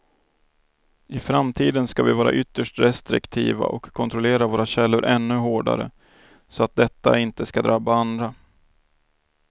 I framtiden ska vi vara ytterst restriktiva och kontrollera våra källor ännu hårdare så att detta inte ska drabba andra.